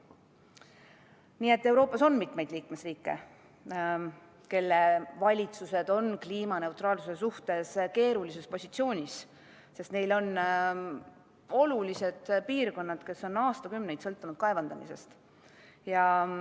Nii et Euroopas on mitmeid liikmesriike, kelle valitsus on kliimaneutraalsuse suhtes keerulises positsioonis, sest neil on olulised piirkonnad, mis on aastakümneid sõltunud kaevandamisest.